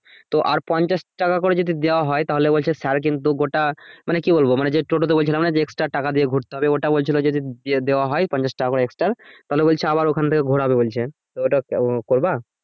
তো আর পঞ্ছাশ টাকা করে দেয়া হয় তাহলে বলছে স্যার কিন্তু গোটা মানে কি বলব মানে যে টোটোতে বলছিলাম না extra টাকা দিয়ে ঘুরতে হবে ওটা বলছিলো যদি দিয়ে দেয়া হয় পঞ্ছাশ টাকা করে extra তাহলে বলছে আবার ওখান থেকে ঘোরাবে বলছে তো ওটা করবা